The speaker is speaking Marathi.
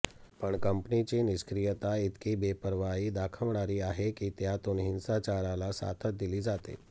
पण कंपनीची निष्क्रियता इतकी बेपर्वाई दाखवणारी आहे की त्यातून हिंसाचाराला साथच दिली जाते